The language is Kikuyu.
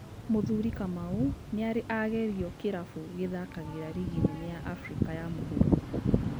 Mũthuri Kamau nĩarĩ agerio kĩrabu gĩthakagĩra rigi nene ya Africa ya mũhũro